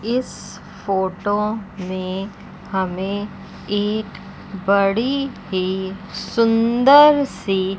इस फोटो में हमें एक बड़ी ही सुंदर सी--